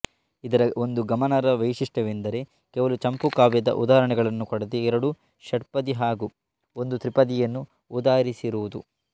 ಇದರ ಒಂದು ಗಮನಾರ್ಹ ವೈಶಿಷ್ಟ್ಯವೆಂದರೆ ಕೇವಲ ಚಂಪುಕಾವ್ಯದ ಉದಾಹರಣೆಗಳನ್ನು ಕೊಡದೆ ಎರಡು ಷಟ್ಪದಿ ಹಾಗೂ ಒಂದು ತ್ರಿಪದಿಯನ್ನು ಉದಾಹರಿಸಿರುವುದು